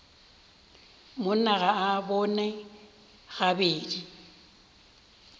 monna ga a bone gabedi